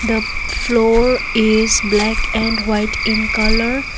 the floor is black and white in colour.